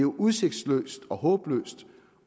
udsigtsløst og håbløst